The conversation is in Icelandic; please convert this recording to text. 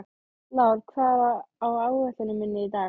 Lár, hvað er á áætluninni minni í dag?